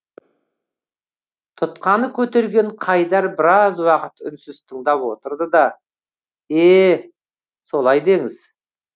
тұтқаны көтерген қайдар біраз уақыт үнсіз тыңдап отырды да е солай деңіз